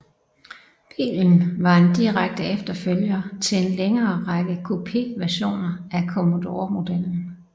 Bilen var en direkte efterfølger til en længere række Coupé versioner af Commodore modellen